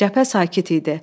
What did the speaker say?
Cəbhə sakit idi.